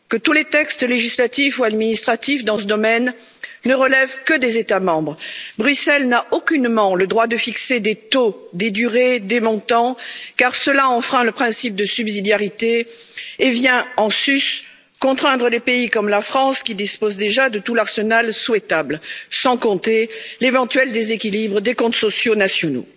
D'abord, tous les textes législatifs ou administratifs dans ce domaine ne relèvent que des États membres. Bruxelles n'a aucunement le droit de fixer des taux, des durées et des montants, car cela enfreint le principe de subsidiarité et vient en sus contraindre les pays, comme la France, qui disposent déjà de tout l'arsenal souhaitable, sans compter l'éventuel déséquilibre des comptes sociaux nationaux.